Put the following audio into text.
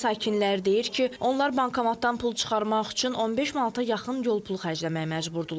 Kəndin sakinləri deyir ki, onlar bankomatdan pul çıxarmaq üçün 15 manata yaxın yol pulu xərcləməyə məcburdular.